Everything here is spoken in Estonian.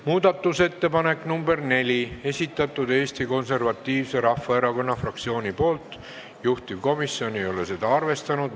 Muudatusettepaneku nr 4 on esitanud Eesti Konservatiivse Rahvaerakonna fraktsioon, juhtivkomisjon ei ole seda arvestanud.